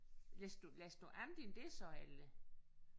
Læste du læste du andet end det så eller?